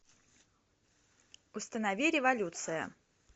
установи революция